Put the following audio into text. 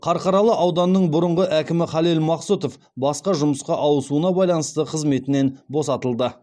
қарқаралы ауданының бұрынғы әкімі халел мақсұтов басқа жұмысқа ауысуына байланысты қызметінен босатылды